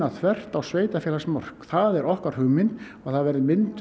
þvert á sveitarfélagsmörk það er okkar hugmynd að það verði mynduð